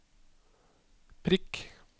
prikk